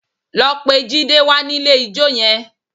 Lọ pe Jide wá nílé ijó yẹn!